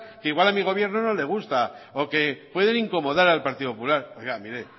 que igual a mi gobierno no le gusta o que pueden incomodar al partido popular oiga mire